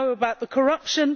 we know about the corruption